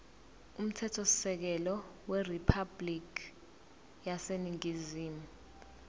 umthethosisekelo weriphabhulikhi yaseningizimu